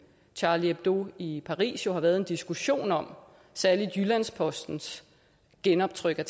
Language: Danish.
charlie hebdo i paris har været en diskussion om særlig jyllands postens genoptryk af